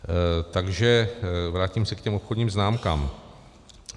Takže vrátím se k těm obchodním známkám.